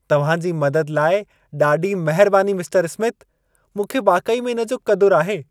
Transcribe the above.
तव्हां जी मदद लाइ ॾाढी महिरबानी मिस्टर स्मिथ। मूंखे वाकई में इन जो क़दुरु आहे।